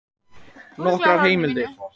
Nokkrar heimildir: